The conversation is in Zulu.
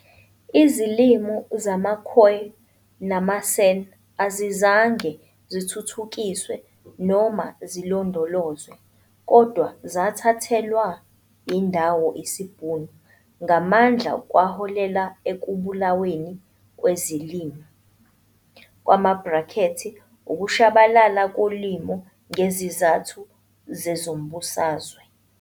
Izilimi zamaKhoi namaSan azizange zithuthukiswe noma zilondolozwe kodwa zathathelwa indawo isiBhunu ngamandla kwaholela ekubulaweni kwezilimi kwama-bracketsukushabalala kolimi ngezizathu zezombusazwe.